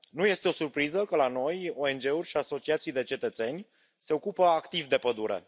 Nu este o surpriză că, la noi, ONG uri și asociații de cetățeni se ocupă activ de pădure.